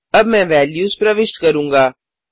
अब मैं वेल्यूज प्रविष्ट करूँगा